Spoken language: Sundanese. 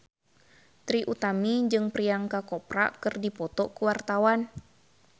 Trie Utami jeung Priyanka Chopra keur dipoto ku wartawan